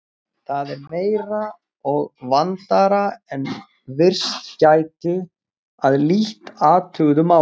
Það er meira og vandaðra en virst gæti að lítt athuguðu máli.